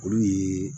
Olu ye